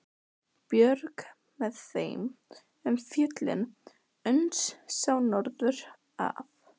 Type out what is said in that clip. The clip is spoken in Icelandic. Björg með þeim um fjöllin uns sá norður af.